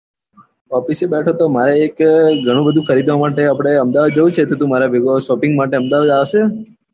office બેઠો તો મારે એક ઘણું બધું ખરીદવા માટે આપડે અમદાવાદ જવું છે તો તું મારા ભેગું shopping માટે અમદાવાદ આવશે?